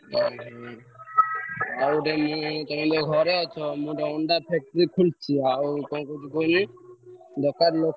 ଓହୋ ଆଉତେ ମୁଁ ତମେ ଘରେ ଅଛ ମୁଁ ଗୋଟେ ଅଣ୍ଡା factory ଖୋଲିଛି କଣ କହୁଛି କହିଲ ଦରକାର ଲୋକ୍।